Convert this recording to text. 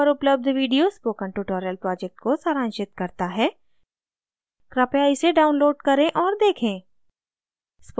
निम्न link पर उपलब्ध video spoken tutorial project को सारांशित करता है कृपया इसे download करें और देखें